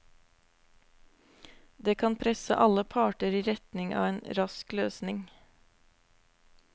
Det kan presse alle parter i retning av en rask løsning.